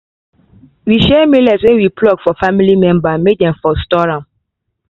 we share millet wey we pluck for family members may dem for store am